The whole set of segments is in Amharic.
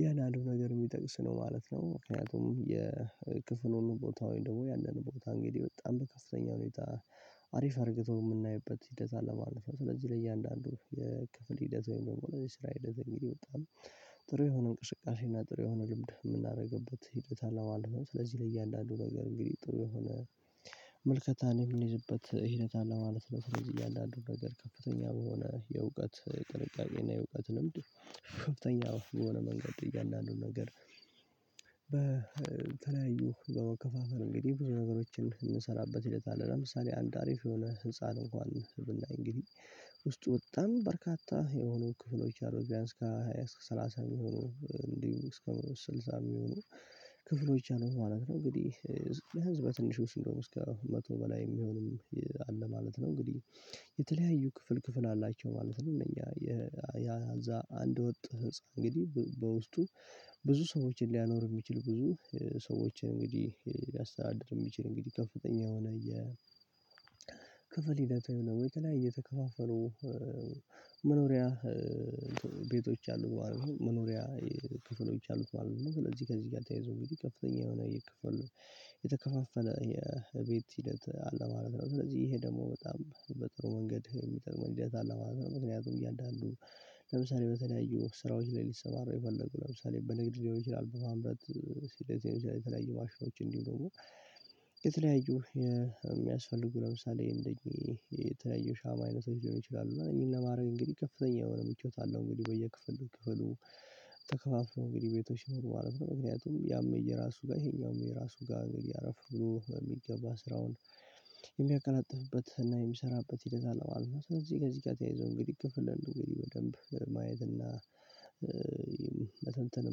ያን አንድ ነገር ሚጠቅስ ነው ማለት ነው። ምክንያቱም የክፍሉን ቦታውን ደግሞ ያንን ቦታ እንግዲህ በጣም በከፍተኛ ሁኔታ አሪፍ አርግቶ ምናይበት ሂደት አለ ማለት ነው። ስለዚህ ለእያንዳንዱ ክፍል ሂደት ወም ደግሞ ስራ ሂደት በጣም ጥሩ የሆነ እንቅስቃሴና ጥሩ የሆነ ልምድ ምናደርግበት ሂደት አለው ማለት ነው። ስለዚህ ለእያንዳንዱ ነገር እንግዲህ ጥሩ የሆነ መልከታን የምንይዝበት ሂደት አለ ማለት ነው። ስለዚህ እያንዳንዱን ነገር ከፍተኛ በሆነ የእውቀት ቅንቃቄና የእውቀት ልምድ ከፍተኛ የሆነ መንገድ እያንዳንዱን ነገር በተለያዩ በመከፋፈል እንግዲህ ብዙ ነገሮችን ምንሰራበት ሁኔታ አለ። ለምሳሌ አንድ አሪፍ የሆነ ህፃን እንኳን ብናይ እንግዲህ ውስጡ በጣም በርካታ የሆኑ ክፍሎች አሉት። ቢያንስ ከሃያ እስከ ሰላሳ የሚሆኑ እንዲሁ እስከ ስልሳ የሚሆኑ ክፍሎች አሉ ማለት ነው። እንግዲህ የህዝብ በትንሹ ሲሆን እስከ መቶ በላይ ሚሆን አለ ማለት ነው። እንግዲህ የተለያዩ ክፍል ክፍል አላቸው ማለት ነው። እኛ ያ እዛ አንድ ወጥ ህንፃ እንግዲህ በውስጡ ብዙ ሰዎችን ሊያኖር ሚችል ብዙ ሰዎችን እንግዲህ ሊያስተዳድር የሚችል እንግዲህ ከፍተኛ የሆነ የ ክፍል ሂደት ወይም ደግሞ የተለያዩ የተከፋፈሉ መኖሪያ ቤቶች አሉ ማለት ነው መኖሪያ ክፍሎች አሉት ማለት ነው። ለዚ ከዚ ጋር ተያዞ እንግዲ ከፍተኛ የሆነ እየከፈሉ የተከፋፈለ የቤት ሂደት አለ ማለት ነው። ስለዚ ይሄ ደሞ በጣም በጥሩ መንገድ የሚጠቅም መንገድ አለ ማለት ነው። ምክንያቱም እያንዳንዱ ለምሳሌ በተለያዩ ስራዎች ላይ ሊሰማራ የፈለጉ ለምሳሌ በንግድ ሊሆን ይችላል በማምረት ሲል ሊሆን ይችላል የተለያዩ ማሽኖች እንዲሁ ደሞ የተለያዩ የሚያስፈልጉ ለምሳሌ እንደኚህ የተለያዩ ሻማ አይነቶች ሊሆን ይችላሉና ይሄን ለማረግ እንግዲህ ከፍተኛ የሆነ ምቾት አለው እንግዲ በየክፍል ክፍሉ ተከፋፍሎ እንግዲ ቤቶች ሲኖሩ ማለት ነው። ምክንያቱም ያም የየራሱ ጋር ይሄኛው የራሱ ጋር እንግዲ አረፈ ብሎ በሚገባ ስራውን የሚያቀላጥፍበት እና የሚሰራበት ሂደት አለማለት ነው። ስለዚ ጋር ከዚ ጋ ተያይዞ እንግዲ ክፍል አንዱ እንግዲ በደንብ ማየት እና መተንተን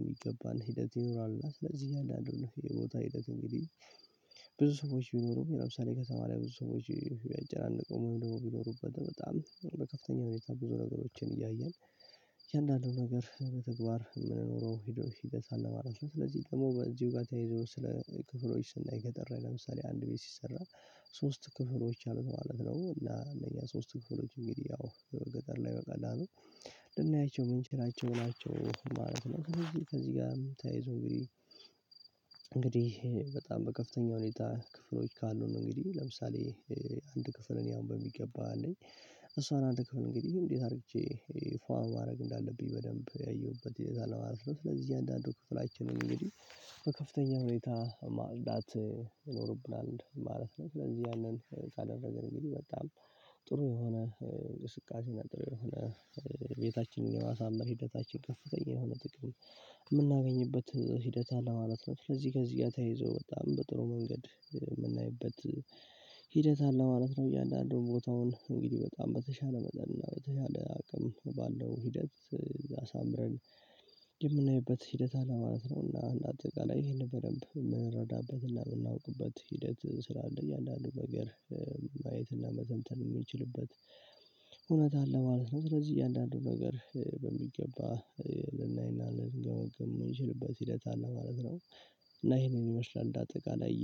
ሚገባን ሂደት ይኖራልና ስለዚ አንዳንዱን የቦታ ሂደት እንግዲ ብዙ ሰዎች ቢኖሩም ለምሳሌ ከተማ ላይ ብዙ ሰዎች ያጨናነቀው ወይም ደግሞ ሚኖሩበት በጣም በከፍተኛ ሁኔታ ብዙ ነገሮችን እያየን እያንዳንዱን ነገር በተግባር ምንኖረው ሂደት አለ ማለት ነው። ስለዚ ደሞ በዚው ጋ ተያይዞ ስለ ክፍሎች ስናይ ገጠር ላይ ለምሳሌ አንድ ቤት ሲሰራ ሶስት ክፍሎች አሉት ማለት ነው። እና እነኛ ሶስት ክፍሎች እንግዲ ያው ገጠር ላይ በቀላሉ ልናያቸው ምንችላቸው ናቸው ማለት ነው። ስለዚ ከዚ ጋርም ተያይዞ እንግዲ እንግዲህ በጣም በከፍተኛ ሁኔታ ክፍሎች ካሉ ነው እንግዲ ለምሳሌ አንድ ክፍል እኔ አሁን በሚገባ አለኝ እሷን አንድ ክፍል እንግዲ እንዴት አርግቼ ፏ ማረግ እንዳለብኝ በደንብ ያየውበት እይዛለው ማለት ነው። ስለዚ እያንዳንዱ ክፍላችንን እንግዲ በከፍተኛ ሁኔታ ማጽዳት ይኖርብናል ማለት ነው። ስለዚ ያንን ሳደርግ እንግዲ በጣም ጥሩ የሆነ እንቅስቃሴና ጥሩ የሆነ ቤታችንን የማሳመር ሂደታችን ከፍተኛ የሆነ ጥቅም ምናገኝበት ሂደት አለ ማለት ነው። ስለዚ ከዚ ጋ ተያይዞ በጣም በጥሩ መንገድ ምናይበት ሂደት አለ ማለት ነው። እያንዳንዱ ቦታውን እንግዲ በጣም በተሻለ መጠን እና በተሻለ አቅም ባለው ሂደት አሳምረን የምናይበት ሂደት አለማለት ነው። እና እንደአጠቃላይ ይሄንን በደንብ ምንረዳበትና ምናውቅበት ሂደት ስላለ እያንዳንዱ ነገር ማየት እና መተንተን ሚችልበት እውነት አለ ማለት ነው። ስለዚ እያንዳንዱን ነገር በሚገባ ልናይና ልንገምግም ምንችልበት ሂደት አለ ማለት ነው። እና ይሄንን ይመስላል እንደ አጠቃላይ